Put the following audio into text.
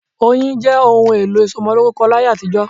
Oyin jẹ́ òun èlò ìsomolórúkọ láyé àtijó